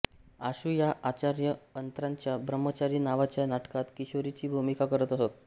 आशू या आचार्य अत्र्यांच्या ब्रह्मचारी नावाच्या नाटकात किशोरीची भूमिका करत असत